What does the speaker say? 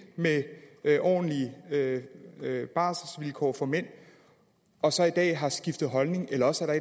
med ordentlige barselsvilkår for mænd og så i dag har skiftet holdning eller også er